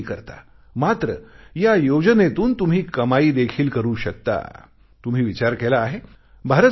तुम्हीही करता मात्र या योजनेतून तुम्ही कमाई देखील करू शकता तुम्ही विचार केला आहे